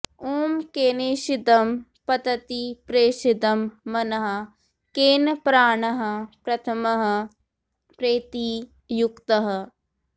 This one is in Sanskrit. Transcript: ॐ केनेषितं पतति प्रेषितं मनः केन प्राणः प्रथमः प्रैति युक्तः